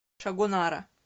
шагонара